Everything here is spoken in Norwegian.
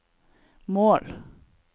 mål